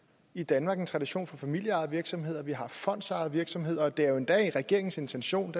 i danmark en tradition for familieejede virksomheder og vi har fondsejede virksomheder og det er endda regeringens intention